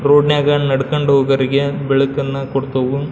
Road ನ್ಯಾಗ ನಡ್ಕೊಂಡ್ ಹೊಗರಿಗೆ ಬೆಳಕನ್ನು ಕೊಡ್ತವು.